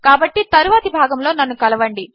కాబట్టి తరువాతి భాగములో నన్ను కలవండి